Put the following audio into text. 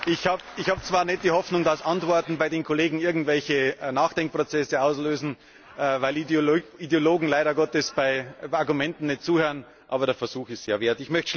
Ich habe zwar nicht die Hoffnung, dass Antworten bei den Kollegen irgendwelche Nachdenkprozesse auslösen, weil Ideologen leider Gottes bei Argumenten nicht zuhören, aber den Versuch ist es wert.